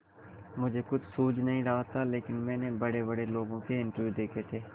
मुझे कुछ सूझ नहीं रहा था लेकिन मैंने बड़ेबड़े लोगों के इंटरव्यू देखे थे